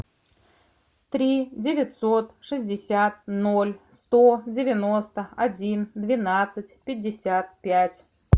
три девятьсот шестьдесят ноль сто девяносто один двенадцать пятьдесят пять